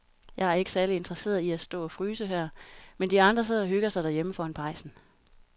Jeg er ikke særlig interesseret i at stå og fryse her, mens de andre sidder og hygger sig derhjemme foran pejsen.